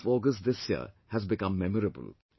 The month of August this year has become memorable